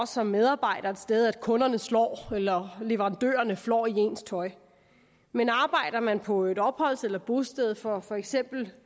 som medarbejder et sted er kunderne slår en eller at leverandørerne flår i ens tøj men arbejder man på et opholds eller bosted for for eksempel